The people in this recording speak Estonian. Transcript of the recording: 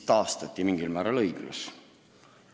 Lõpuks mingil määral õiglus taastati.